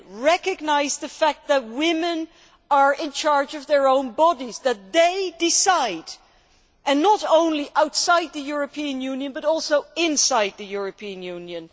Recognise the fact that women are in charge of their own bodies and that they decide not only outside the European Union, but also inside the European Union.